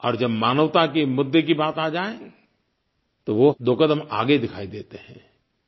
और जब मानवता के मुद्दे की बात आ जाए तो वो दो क़दम आगे दिखाई देते हैं